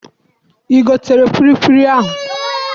I gotere kwilikwili ahụ?